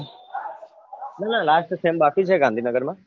ના ના last sem બાકી છે gandhinagar માં